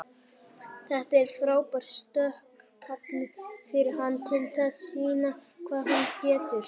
Þetta er frábær stökkpallur fyrir hann til þess sýna hvað hann getur.